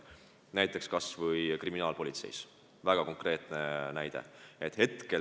Näiteks kas või kriminaalpolitsei, väga konkreetne näide.